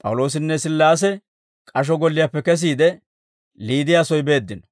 P'awuloosinne Sillaase k'asho golliyaappe kesiide, Liidiyaa soy beeddino;